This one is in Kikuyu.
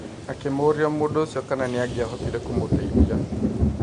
Akĩmũrĩa mũndũ ũcio kana nĩangiahotire kũmũteithia.